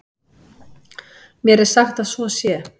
Mér er sagt að svo sé.